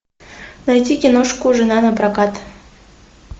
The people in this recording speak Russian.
найти киношку жена на прокат